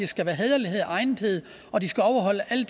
skal være hæderlighed og egnethed og de skal overholde alle